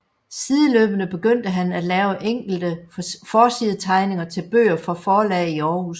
Sideløbende begyndte han at lave enkelte forsidetegninger til bøger for forlag i Aarhus